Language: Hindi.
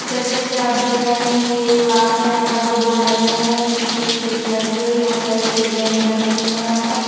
जैसे कि आप देख रहे हैं ये एक क्लास हैं यहाँ पर दो बोर्ड लगे हुए हैं पीछे एक खिड़की लगी हुई हैं बहुत सारी टेबलें भी लगी हुई हैं यहाँ पर--